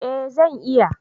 Eh zan iya